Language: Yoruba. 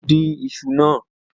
Ojo dín iṣu náà.